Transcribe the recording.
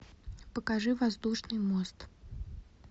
покажи воздушный мост